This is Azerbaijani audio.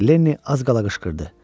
Lenni az qala qışqırdı.